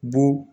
Bon